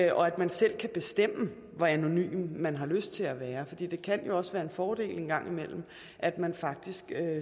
og at man selv kan bestemme hvor anonym man har lyst til at være det kan jo også være en fordel en gang imellem at man faktisk